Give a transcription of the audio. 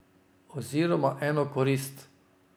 Oziroma eno korist.